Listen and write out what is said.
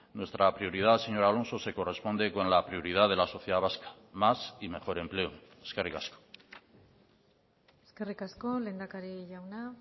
nuestra prioridad señor alonso se corresponde con la prioridad de la sociedad vasca más y mejor empleo eskerrik asko eskerrik asko lehendakari jauna